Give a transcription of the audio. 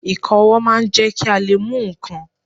Ìka ọwọ́ máa ń jẹ́ kí a lè mú ǹkan.